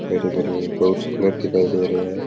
हरे भरे ये बहुत सुन्दर दिखाई दे रहे है।